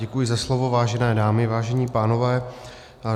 Děkuji za slovo, vážené dámy, vážení pánové.